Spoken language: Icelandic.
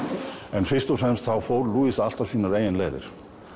en fyrst og fremst fór alltaf sínar eigin leiðir